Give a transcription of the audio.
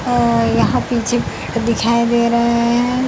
आ यहाँ पीछे दिखाई दे रहे हैं।